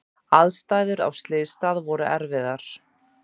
Aðstæður á slysstað voru erfiðar.